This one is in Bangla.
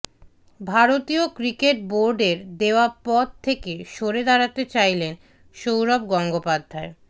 ভারতীয় ক্রিকেট বোর্ডের দেওয়া পদ থেকে সরে দাঁড়াতে চাইলেন সৌরভ গঙ্গোপাধ্যায়